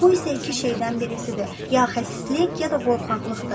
Bu isə iki şeydən birisidir: ya xəsislik, ya da qorxaqlıqdır.